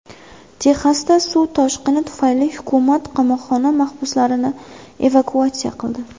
Texasda suv toshqini tufayli hukumat qamoqxona mahbuslarini evakuatsiya qildi.